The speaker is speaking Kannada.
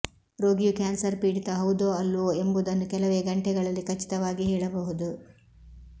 ರೋಗಿಯು ಕ್ಯಾನ್ಸರ್ ಪೀಡಿತ ಹೌದೋ ಅಲ್ಲವೋ ಎಂಬುದನ್ನು ಕೆಲವೇ ಗಂಟೆಗಳಲ್ಲಿ ಖಚಿತವಾಗಿ ಹೇಳಬಹುದು